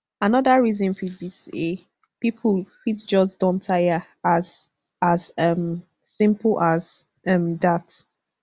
anoda reason fit be say pipo fit just don taya as as um simple as um dat